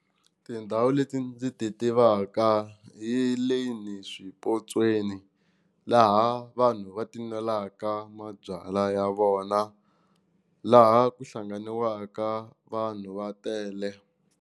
Tindhawu leti ndzi ti tivaka hi le ni swipotsweni laha vanhu va ti nwelaka mabyala ya vona laha ku hlanganiwaka vanhu va tele.